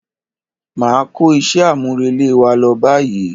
Máa kó iṣẹ́ àmúrelé wa lọ báyìí.